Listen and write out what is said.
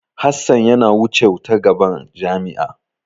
Hassan yana wucew ta gaban jami'a.